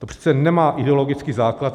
To přece nemá ideologický základ.